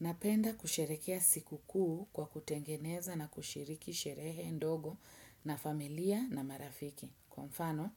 Napenda kusherehekea sikukuu kwa kutengeneza na kushiriki sherehe ndogo na familia na marafiki. Kwa mfano,